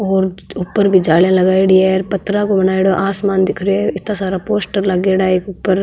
और ऊपर भी जालीया लगाईडी है पत्थर को बनाईडॉ है आसमान दिख रहो है इतना सारा पोस्टर लागेडा है इक ऊपर।